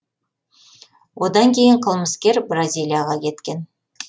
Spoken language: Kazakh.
одан кейін қылмыскер бразилияға кеткен